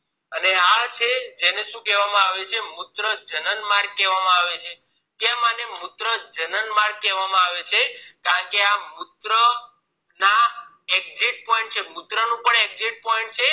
અને આ છે જેને શું કેવા આવે છે મૂત્રજાનન માર્ગ કેવા આવે છે કેમ આને મૂત્રજનન માર્ગ કેવા આવે છે કેમ આ મૂત્ર ના પણ exit point મૂત્ર નો પણ exit point છે